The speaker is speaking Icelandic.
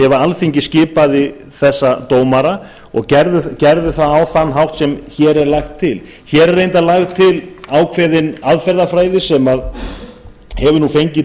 ef alþingi skipaði þessa dómara og gerðu það á þann hátt sem hér er lagt til hér er reyndar lögð til ákveðin aðferðarfræði sem hefur nú fengið